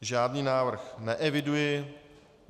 Žádný návrh neeviduji.